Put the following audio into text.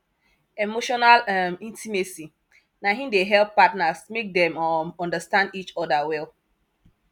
emotional um intimacy na im dey help partners make dem um understand each other well